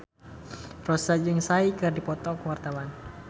Rossa jeung Psy keur dipoto ku wartawan